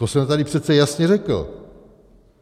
To jsem tady přece jasně řekl.